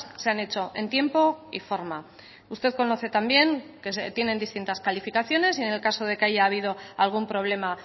se han hecho en tiempo y forma usted conoce también que se tienen distintas calificaciones y en el caso de que haya habido algún problema